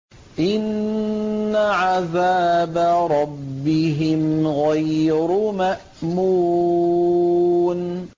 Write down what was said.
إِنَّ عَذَابَ رَبِّهِمْ غَيْرُ مَأْمُونٍ